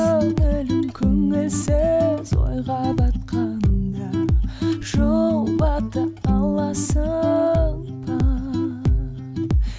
көңілсіз ойға батқанда жұбата аласың ба